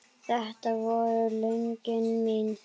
Þetta voru lögin mín.